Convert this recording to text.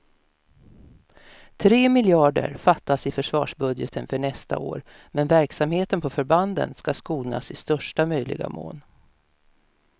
Tre miljarder fattas i försvarsbudgeten för nästa år, men verksamheten på förbanden ska skonas i största möjliga mån.